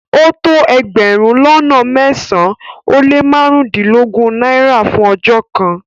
O tó ègbérùn lọ́nà mẹ́sán-an o le màrundinlọ́gọ́run Naira fún ọjọ́ kan